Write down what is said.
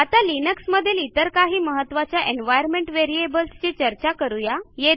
आता लिनक्समधील इतर काही महत्त्वाच्या एन्व्हायर्नमेंट व्हेरिएबल्स ची चर्चा करू या